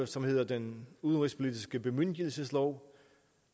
som hedder den udenrigspolitiske bemyndigelseslov